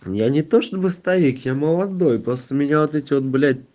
я не то чтобы старик я молодой просто меня вот эти вот блять